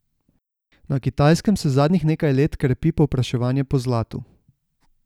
Na Kitajskem se zadnjih nekaj let krepi povpraševanje po zlatu.